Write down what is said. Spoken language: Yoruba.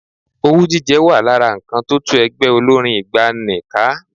Owú jíjẹ wà lára nǹkan tó tú ẹgbẹ́ olórín ìgbàanì ká.